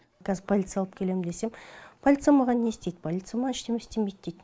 қазір полиция алып келем десем полиция маған не істейді полиция маған ештеме істемейт дейді